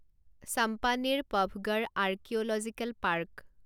Champaner Pavagadh archaeological park